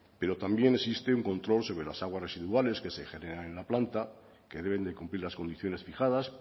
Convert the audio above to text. pero también existe un control sobre las aguas residuales que se generan en la planta que deben de cumplir las condiciones fijadas